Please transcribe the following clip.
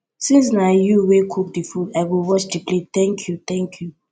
since na you wey cook the food i go wash the plate thank you thank you